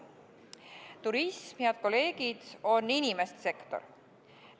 Turism, head kolleegid, on inimeste sektor.